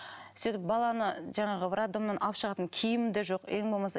сөйтіп баланы жаңағы роддомнан алып шығатын киімім де жоқ ең болмаса